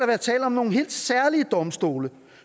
være tale om nogle helt særlige domstole